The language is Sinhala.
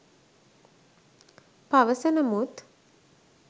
පවසන මුත්